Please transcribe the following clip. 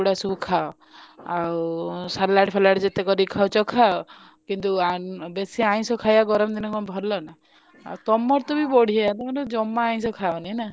ଏଇଗୁଡା ସବୁ ଖାଅ ଆଉ ସାଲଡ ଫାଲଡ ଯେତେ କରିକି ଖାଉଛ ଖାଅ କିନ୍ତୁ ବେଶୀ ଆଇଂଷ ଖାଇଆ କରନ୍ତିନି କଣ ଭଲ ନା ଆଉ ତମର ତବି ବଢିଆ ତମର ଜମା ଆଇଂଷ ଖାଅନି ନା।